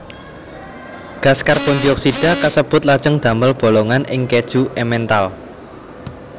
Gas karbondioksida kasebut lajeng damel bolongan ing kèju Emmental